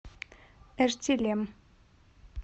эртилем